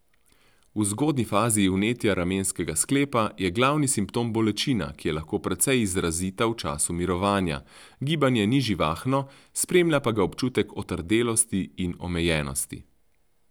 V zgodnji fazi vnetja ramenskega sklepa je glavni simptom bolečina, ki je lahko precej izrazita v času mirovanja, gibanje ni živahno, spremlja pa ga občutek otrdelosti in omejenosti.